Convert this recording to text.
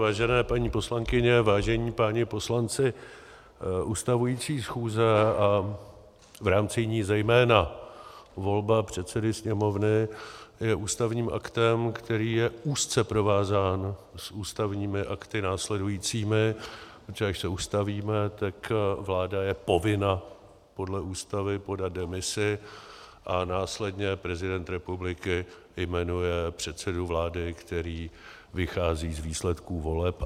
Vážené paní poslankyně, vážení páni poslanci, ustavující schůze a v rámci ní zejména volba předsedy Sněmovny je ústavním aktem, který je úzce provázán s ústavními akty následujícími, protože až se ustavíme, tak vláda je povinna podle Ústavy podat demisi a následně prezident republiky jmenuje předsedu vlády, který vychází z výsledků voleb.